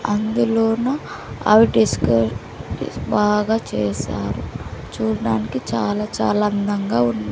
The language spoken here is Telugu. అందులోనూ అవి బాగా చేశారు చూడ్డానికి చాలా చాలా అందంగా ఉం--